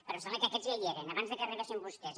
però em sembla que aquests ja hi eren abans que arribessin vostès